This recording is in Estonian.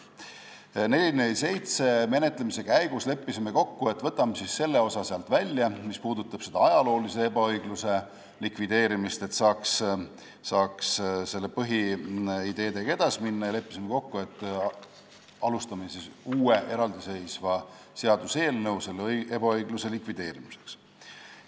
Eelnõu 447 menetlemise käigus leppisime kokku, et võtame sealt välja selle osa, mis puudutab selle ajaloolise ebaõigluse likvideerimist, et saaks põhiideedega edasi minna, ja leppisime ka kokku, et algatame uue, eraldiseisva seaduseelnõu selle ebaõigluse likvideerimiseks.